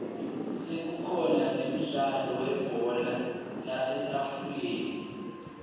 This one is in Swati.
sekukhona nemdlalo webhola lasetafuleni